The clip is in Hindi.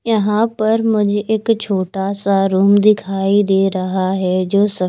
यहाँ पर मुझे इक छोटा सा रुम दिखाई दे रहा है जो स--